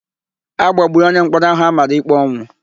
A gbagburu onyemkpọrọ áhụ̀ a mara íkpé ọnwụ.